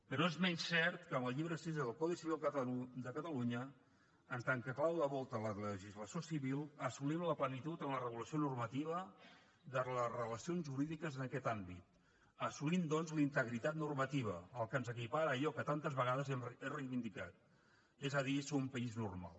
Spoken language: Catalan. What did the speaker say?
però no és menys cert que amb el llibre sisè del codi civil de catalunya en tant que clau de volta a la legislació civil assolim la plenitud en la regulació normativa de les relacions jurídiques en aquest àmbit i assolim doncs la integritat normativa el que ens equipara a allò que tantes vegades hem reivindicat és a dir ser un país normal